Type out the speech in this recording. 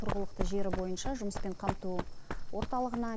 тұрғылықты жері бойынша жұмыспен қамту орталығына